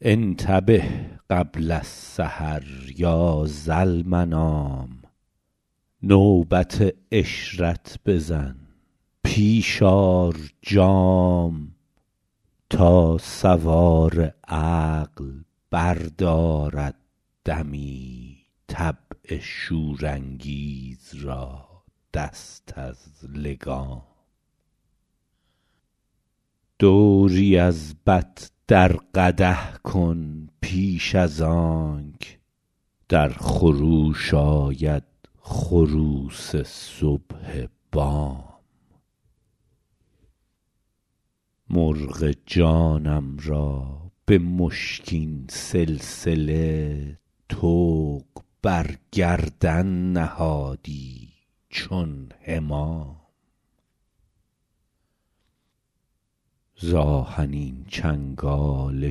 انتبه قبل السحر یا ذالمنام نوبت عشرت بزن پیش آر جام تا سوار عقل بردارد دمی طبع شورانگیز را دست از لگام دوری از بط در قدح کن پیش از آنک در خروش آید خروس صبح بام مرغ جانم را به مشکین سلسله طوق بر گردن نهادی چون حمام ز آهنین چنگال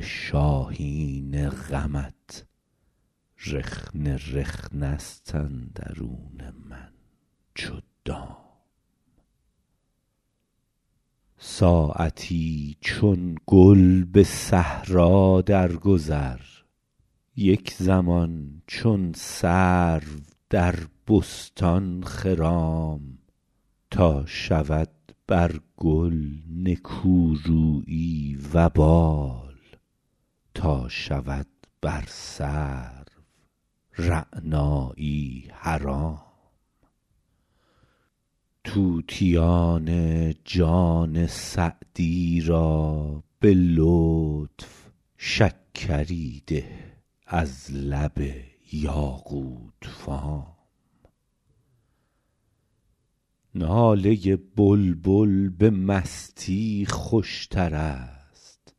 شاهین غمت رخنه رخنه ست اندرون من چو دام ساعتی چون گل به صحرا درگذر یک زمان چون سرو در بستان خرام تا شود بر گل نکورویی وبال تا شود بر سرو رعنایی حرام طوطیان جان سعدی را به لطف شکری ده از لب یاقوت فام ناله بلبل به مستی خوشتر است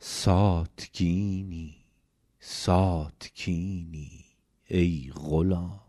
ساتکینی ساتکینی ای غلام